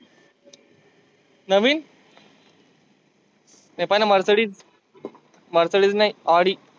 नविन नाही पहिलं mercides mercides नाही Audi